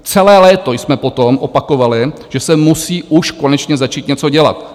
Celé léto jsme potom opakovali, že se musí už konečně začít něco dělat.